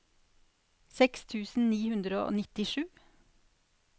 seks tusen ni hundre og nittisju